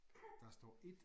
Der står 1